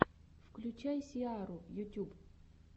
включай сиару ютюб